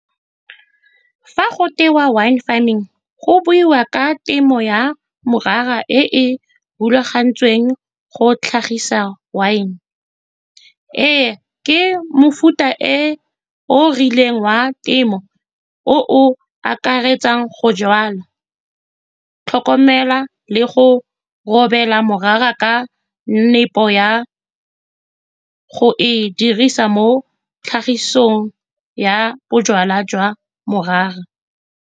Fa go wine farming, go buiwa ka temo ya morara e e rulagantsweng go tlhagisa wine. Ee, ke mofuta o o rileng wa temo o o akaretsang go jalwa, tlhokomela le go romela morara ka nepo ya go e dirisa mo tlhagisong ya bojalwa jwa morara.